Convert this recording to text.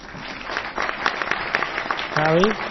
ਹੈਅ ਬਈ।